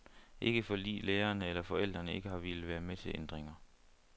Ikke fordi lærerne eller forældrene ikke har villet være med til ændringer.